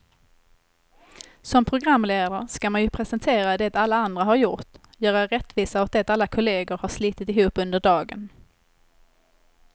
Som programledare ska man ju presentera det alla andra har gjort, göra rättvisa åt det alla kollegor har slitit ihop under dagen.